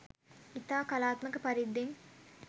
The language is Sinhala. ඉතා කලාත්මක පරිද්දෙන්